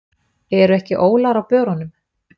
Eru ekki ólar á börunum?